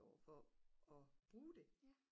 over for at bruge det